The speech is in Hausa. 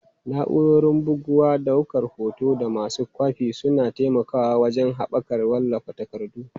Na'urorin bugawa, daukar hoto, da masu kwafi suna taimakawa wajen haɓaka wallafa takardu.